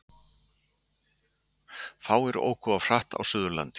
Fáir óku of hratt á Suðurlandi